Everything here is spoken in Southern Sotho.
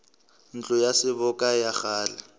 ntlo ya seboka ya kgale